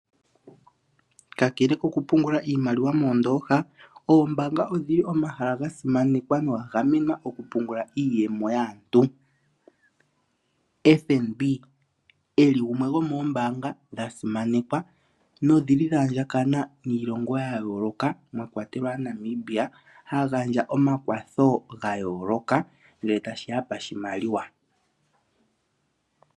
Kakele kokupungla iimaliwa moondooha, oombaanga odhi li omahala ga simanekwa noga gamenwa okupungula iiyemo yaantu. FNB gumwe gomoombaanga dha simanekwa nokwa andjakana niilongo ya yooloka mwa kwatelwa Namibia ha gandja omakwatho ga yooloka, ngele tashi ya poshimaliwa.